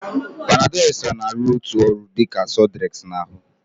Panadol extra na-arụ otu ọrụ dị ka sudrex na ahụ